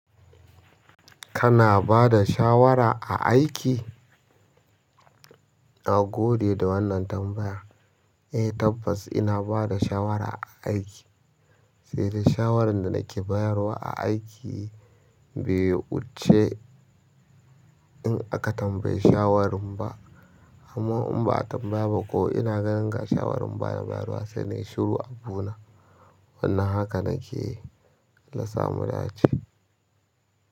Kana bada shawara a aiki? Nagode da wannan tambaya. Eh tabbas ina bada shawara a aiki, sai dai shawarar da nake bayarwa a aiki bai wuce in aka tambaye shawarin ba. Amma in ba'a tambaya baƙo ina ganin ga shawarar bana bayarwa sai nai shiru abuna. Wannan haka nake alasa mudace.